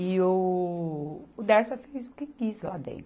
E o, o Dersa fez o que quis lá dentro.